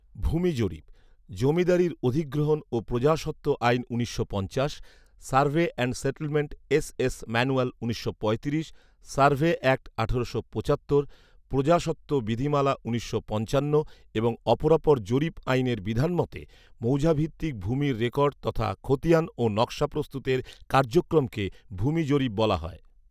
ভূমি জরিপ, জমিদারি অধিগ্রহণ ও প্রজাস্বত্ব আইন উনিশশো পঞ্চাশ, survey and settlement SS manual উনিশশো পঁয়ত্রিশ, সার্ভে অ্যাক্ট আঠারোশো পঁচাত্তর, প্রজাস্বত্ব বিধিমালা উনিশশো পঞ্চান্ন এবং অপরাপর জরিপ আইনের বিধান মতে, মৌজাভিত্তিক ভূমির রেকর্ড তথা খতিয়ান ও নকশা প্রস্তুতের কার্যক্রমকে ভূমি জরিপ বলা হয়